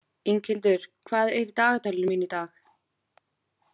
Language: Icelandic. Inghildur, hvað er í dagatalinu mínu í dag?